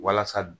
Walasa